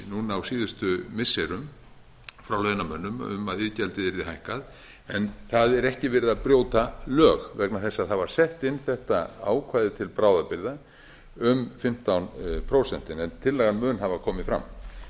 núna á síðustu missirum frá launamönnum um að iðgjaldið yrði hækkað en það er ekki verið að brjóta lög vegna þess að það var sett inn þetta ákvæði til bráðabirgða um fimmtán prósent en tillagan mun hafa komið fram